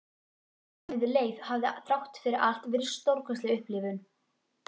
Bardaginn við Leif hafði þrátt fyrir allt verið stórkostleg upplifun.